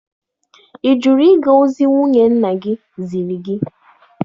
Ị jụrụ ịga ozi nwunye nna gị ziri gị?